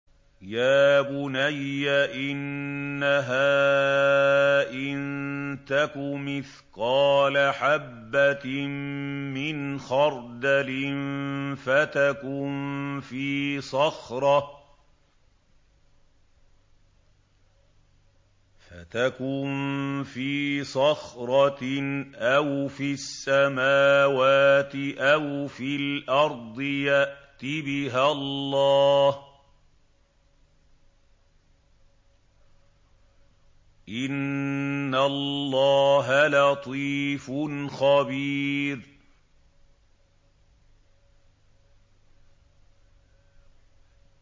يَا بُنَيَّ إِنَّهَا إِن تَكُ مِثْقَالَ حَبَّةٍ مِّنْ خَرْدَلٍ فَتَكُن فِي صَخْرَةٍ أَوْ فِي السَّمَاوَاتِ أَوْ فِي الْأَرْضِ يَأْتِ بِهَا اللَّهُ ۚ إِنَّ اللَّهَ لَطِيفٌ خَبِيرٌ